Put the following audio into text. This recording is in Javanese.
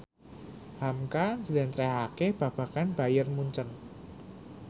hamka njlentrehake babagan Bayern Munchen